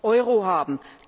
Euro haben.